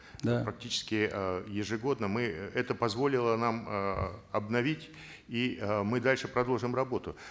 да практически э ежегодно мы это позволило нам эээ обновить и э мы дальше продолжим работу